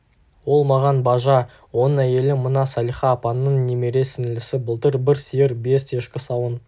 ол маған бажа оның әйелі мына салиха апаңның немере сіңлісі былтыр бір сиыр бес ешкі сауын